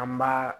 An b'a